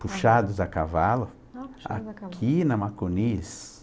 puxados a cavalo. Ah, puxados a cavalo? Aqui na Macunis.